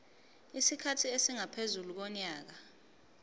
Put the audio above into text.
isikhathi esingaphezu konyaka